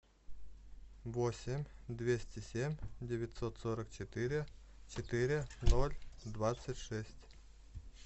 восемь двести семь девятьсот сорок четыре четыре ноль двадцать шесть